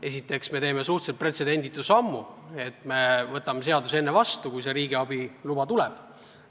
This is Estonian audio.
Esiteks me teeme suhteliselt pretsedenditu sammu, et võtame seaduse enne vastu, kui riigiabi luba tuleb.